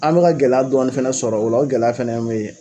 An mɛka gɛlɛya dɔɔni fana sɔrɔ o la o gɛlɛya fana ye min ye